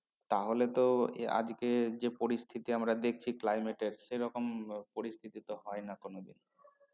তাহলে তো আজকে যে পরিস্থিতি আমরা দেখছি climate সে রকম পরিস্থিতি তো হয় না কোন দিন